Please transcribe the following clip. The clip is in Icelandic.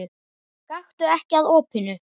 Gakktu ekki að opinu.